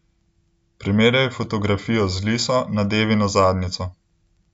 Primerjal je fotografijo z liso nad Evino zadnjico.